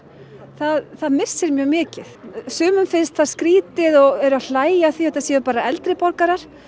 það það missir mjög mikið sumum finnst það skrítið og eru að hlæja að því að þetta séu bara eldri borgarar